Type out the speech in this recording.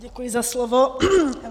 Děkuji za slovo.